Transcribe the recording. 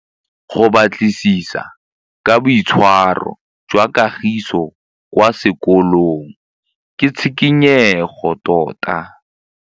Go batlisisa ka boitshwaro jwa Kagiso kwa sekolong ke tshikinyêgô tota.